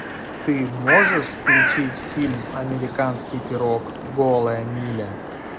ты можешь включить фильм американский пирог голая миля